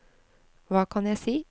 hva kan jeg si